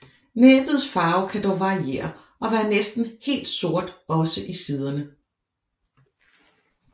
Næbbets farve kan dog variere og være næsten helt sort også i siderne